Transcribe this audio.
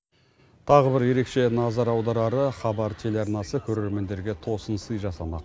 тағы бір ерекше назар аударары хабар телеарнасы көрермендерге тосынсый жасамақ